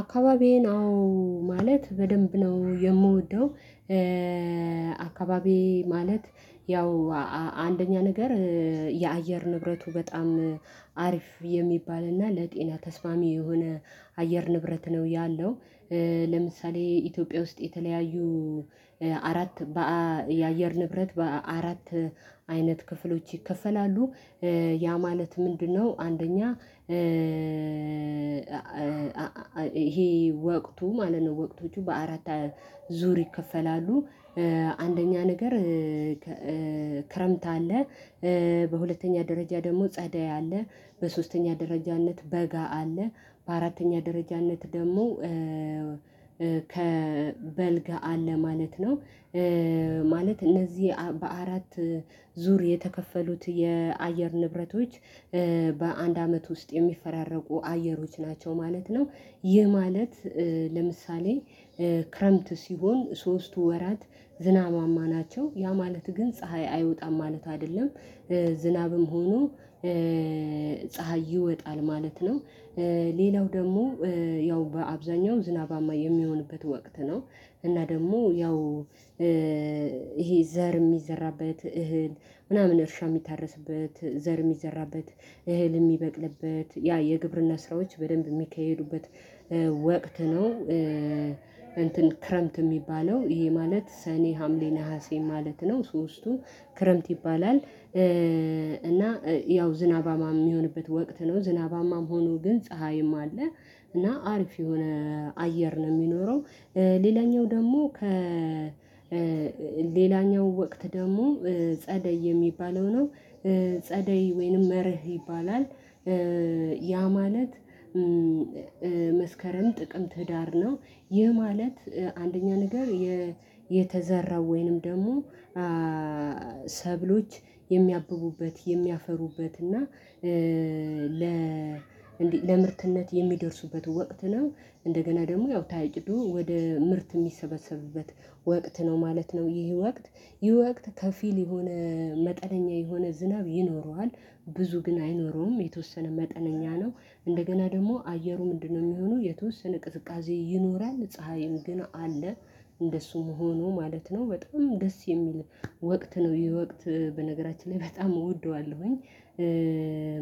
አካባቢዬ ነው ማለት በደንብ ነው የምወደው። አካባቢዬ ማለት ያው አንደኛ ነገር የአየር ንብረቱ በጣም አሪፍ የሚባል እና ለጤና ተስማሚ የሆነ አየር ንብረት ነው ያለው። ለምሳሌ ኢትዮጵያ ውስጥ የተለያዩ አራት የአየር ንብረት በአራት አይነት ክፍሎች ይከፈላሉ ያ ማለት ምንድነው? አንደኛ ይሄ ወቅቱ ማለት ነው ወቅቶቹ በአራት ዙር ይከፈላሉ። አንደኛ ነገር ክረምት አለ። በሁለተኛ ደረጃ ደግሞ ጸዳይ አለ በሶስተኛ ደረጃነት በጋ አለ በአራተኛ ደረጃነት ደግሞ ከበልግ አለ ማለት ነው። ማለት እነዚህ በአራት ዙር የተከፈሉት የአየር ንብረቶች በአንድ አመት ውስጥ የሚፈራረቁ አየሮች ናቸው ማለት ነው። ይህ ማለት ለምሳሌ ክረምት ሲሆን ሶስቱ ወራት ዝናባማ ናቸው። ያ ማለት ግን ፀሀይ አይወጣም ማለት አይደለም። ዝናብም ሆኖ ፀሀይ ይወጣል ማለት ነው። ሌላው ደግሞ ያው በአብዛኛው ዝናባማ የሚሆንበት ወቅት ነው። እና ደግሞ ያው ይሄ ዘር የሚዘራበት እህል ምናምን እርሻ የሚታረስበት ዘር የሚዘራበት እህል የሚበቅልበት ያ የግብርና ስራዎች በደንብ የሚካሄዱበት ወቅት ነው። እንትን ክረምት የሚባለው ይሄ ማለት ሰኔ ሀምሌ ነሀሴ ማለት ነው። ሶስቱ ክረምት ይባላል እና ያው ዝናባማ የሚሆንበት ወቅት ነው ዝናባማም ሆኖ ግን ፀሀይም አለ እና አሪፍ የሆነ አየር ነው የሚኖረው። ሌላኛው ደግሞ ከ ሌላኛው ወቅት ደግሞ ጸደይ የሚባለው ነው። ጸደይ ወይንም መርህ ይባላል። ያ ማለት መስከረም ጥቅም ትዳር ነው። ይህ ማለት አንደኛ ነገር የተዘራው ወይንም ደግሞ ሰብሎች የሚያብቡበት የሚያፈሩበት እና ለ ለምርትነት የሚደርሱበት ወቅት ነው። እንደገና ደግሞ ያው ታይጭዶ ወደ ምርት የሚሰበሰብበት ወቅት ነው ማለት ነው። ይህ ወቅት ይህ ወቅት ከፊል የሆነ መጠነኛ የሆነ ዝናብ ይኖረዋል። ብዙ ግን አይኖረውም የተወሰነ መጠነኛ ነው። እንደገና ደግሞ አየሩ ምንድነው? የሚሆነው የተወሰነ ቅዝቃዜ ይኖራል ፀሀይም ግን አለ። እንደሱም ሆኖ ማለት ነው በጣም ደስ የሚል ወቅት ነው። የወቅት በነገራችን ላይ በጣም እወደዋለሁኝ።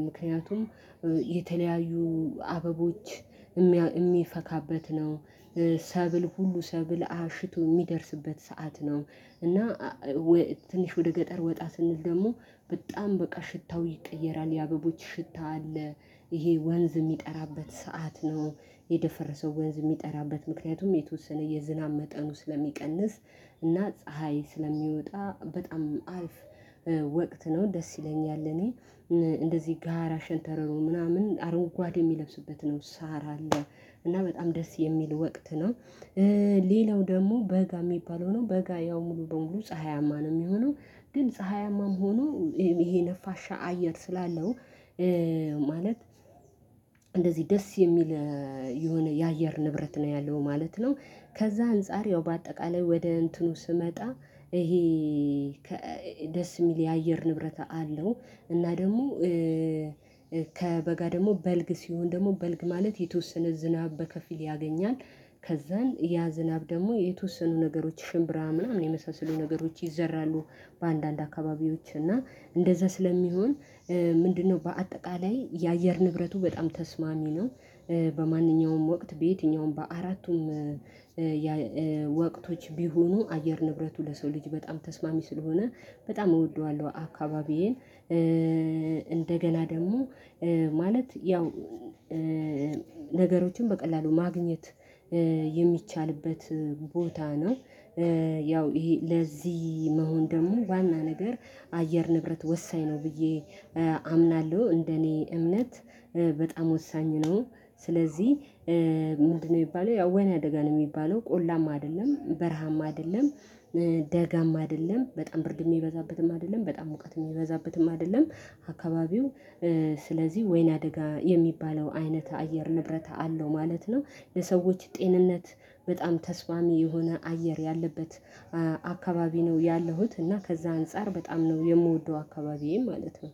ምክንያቱም የተለያዩ አበቦች የሚፈካበት ነው። ሰብል ሁሉ ሰብል አሽቶ የሚደርስበት ሰዓት ነው። እና ትንሽ ወደ ገጠር ወጣ ስንል ደግሞ በጣም በቃ ሽታው ይቀየራል የአበቦች ሽታ አለ። ይሄ ወንዝ የሚጠራበት ሰዓት ነው። የደፈረሰው ወንዝ የሚጠራበት ምክንያቱም የተወሰነ የዝናብ መጠኑ ስለሚቀንስ እና ፀሀይ ስለሚወጣ በጣም አልፍ ወቅት ነው። ደስ ይለኛል እኔ እንደዚህ ጋራሽንተረሮ ምናምን አረጋጓዴ የሚለብሱበት ነው ሳራ አለ። እና በጣም ደስ የሚል ወቅት ነው። ሌላው ደግሞ በጋ የሚባለው ነው በጋ ያው ሙሉ በሙሉ ፀሀያማ ነው የሚሆነው። ግን ፀሀያማም ሆኖ ይሄ ነፋሻ አየር ስላለው ማለት እንደዚህ ደስ የሚል የሆነ የአየር ንብረት ነው ያለው ማለት ነው። ከዛ አንፃር ያው በአጠቃላይ ወደ እንትኑ ስመጣ ይሄ ደስ የሚል የአየር ንብረት አለው። እና ደግሞ ከበጋ ደግሞ በልግ ሲሆን ደግሞ በልግ ማለት የተወሰነ ዝናብ በከፊል ያገኛል። ከዛን ያ ዝናብ ደግሞ የተወሰኑ ነገሮች ሽምብራ ምናምን የመሳሰሉ ነገሮች ይዘራሉ። በአንዳንድ አካባቢዎች እና እንደዛ ስለሚሆን ምንድነው? በአጠቃላይ የአየር ንብረቱ በጣም ተስማሚ ነው። በማንኛውም ወቅት በየትኛውም በአራቱም ወቅቶች ቢሆኑ አየር ንብረቱ ለሰው ልጅ በጣም ተስማሚ ስለሆነ በጣም እወደዋለሁ አካባቢዬን። እንደገና ደግሞ ማለት ያው ነገሮችን በቀላሉ ማግኘት የሚቻልበት ቦታ ነው። ያው ይሄ ለዚህ መሆን ደግሞ ዋና ነገር አየር ንብረት ወሳኝ ነው ብዬ አምናለሁ። እንደኔ እምነት በጣም ወሳኝ ነው። ስለዚህ ምንድነው የሚባለው ወይኔ አደጋ ነው የሚባለው ቆላም አይደለም በረሃም አይደለም። ደጋም አይደለም በጣም ብርድ የሚበዛበትም አይደለም በጣም ሙቀት የሚበዛበትም አይደለም። አካባቢው ስለዚህ ወይና ደጋ የሚባለው አይነት አየር ንብረት አለው ማለት ነው። ለሰዎች ጤንነት በጣም ተስፋሚ የሆነ አየር ያለበት አካባቢ ነው ያለሁት እና ከዛ አንፃር በጣም ነው የምወደው አካባቢዬም ማለት ነው።